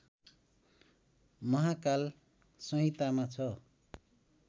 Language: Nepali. महांकाल संहितामा छ